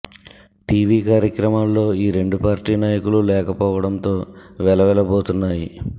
TV కార్యక్రమాల్లో ఈ రెండు పార్టీ నాయకులు లేకపోవడంతో వెలవెల బోతున్నాయి